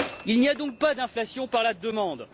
Il n'y a donc pas d'inflation par la demande.